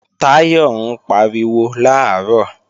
Táyọ̀ ń pariwo làárọ̀